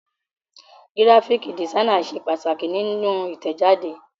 Gíráfíkì dìsáínì ṣe pàtàkì nínú Ìtẹ̀jáde.